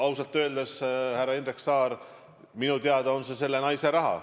Ausalt öeldes, härra Indrek Saar, minu teada on see selle naise raha.